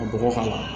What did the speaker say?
Ka bɔgɔ k'a la